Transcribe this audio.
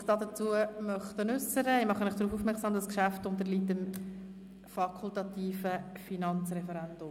Ich mache Sie darauf aufmerksam, dass das Geschäft dem fakultativen Finanzreferendum unterliegt.